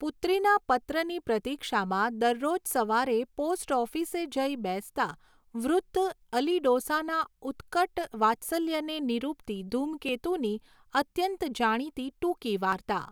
પુત્રીના પત્રની પ્રતીક્ષામાં દરરોજ સવારે પોસ્ટઑફિસે જઈ બેસતા વૃદ્ધ અલીડોસાના ઉત્કટ વાત્સલ્યને નિરૂપતી ધૂમકેતુની અત્યંત જાણીતી ટૂંકી વાર્તા.